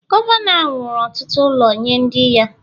Gọvanọ ahụ wuru ọtụtụ ụlọ nye ndị ya